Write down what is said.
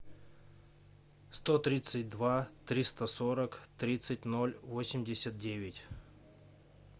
сто тридцать два триста сорок тридцать ноль восемьдесят девять